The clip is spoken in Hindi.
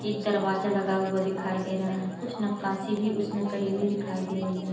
एक दरवाज़ा लगा हुआ दिखाई दे रहा है कुछ नकासी भी उसमे करी हुई दिखाई दे रही है।